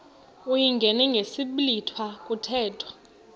uyingene ngesiblwitha kuthethwa